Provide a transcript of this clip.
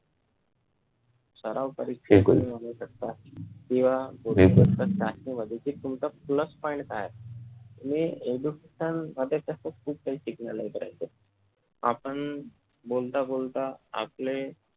सराव परीक्षेमध्ये बघू शकता किंवा सर्व चाचणी मध्ये तुमचा plus point काय आहे तुम्ही education मध्यें खूप काही शिकलेलं आपण बोलता बोलता आपले